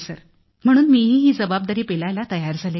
sir म्हणून मीही ही जबाबदारी पेलायला तयार झाले